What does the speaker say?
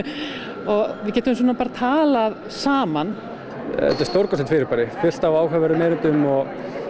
og við getum bara talað saman þetta er stórkostlegt fyrirbæri fullt af áhugaverðum erindum og